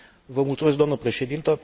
Vă mulțumesc, doamnă președintă.